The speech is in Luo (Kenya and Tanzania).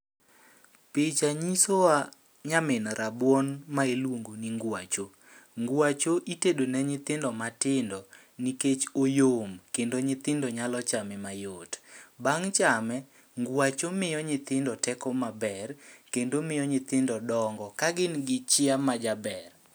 Picha nyiso wa nyamin rabuon ma iluongo ni ngwacho. Ngwacho itedo ne nyithindo matindo nikech oyom kendo nyithindo nyalo chame mayot. Bang' chame, ngwacho miyo nyithindo teko maber, kendo miyo nyithindo dongo ka gin gi chiya ma jaber.